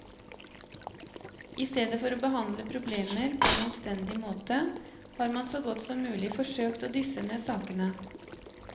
I stedet for å behandle problemer på en anstendig måte, har man så godt som mulig forsøkt å dysse ned sakene.